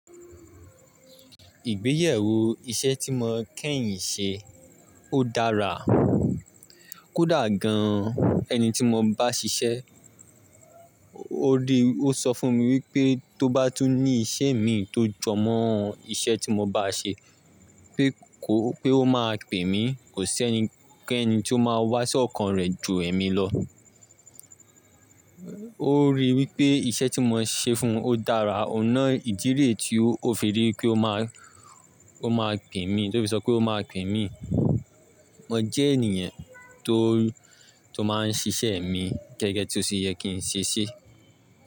Ìgbéyàwó iṣẹ́ tí mo kẹ́yìn ṣe, ó dára. Kódà gan-an ẹni tí mo bá ṣiṣẹ́, ó rí, ó sọ fún mi wípé tó bá tún ní iṣẹ́ mi tó jọ mọ́ iṣẹ́ tí mo bá ṣe pé kó, pé ó máa pè mí, kò sẹ́ni, kẹ́ni tí ó máa wá sí ọkàn rẹ̀ ju èmi lọ. Ó rí wípé iṣẹ́ tí mo ṣe fún ó dára. Ọ̀nà ìdí re tí ó fi rí pé ó máa, ó máa pè mí, tó fi sọ pé ó máa pè mí. Mo jẹ́ ènìyàn tó, tó máa ń ṣiṣẹ́ mi gẹ́gẹ́ tí ó ṣe yẹ kí n ṣe ṣí.